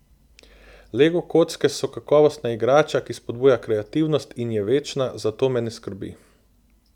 Lego kocke so kakovostna igrača, ki spodbuja kreativnost in je večna, zato me ne skrbi.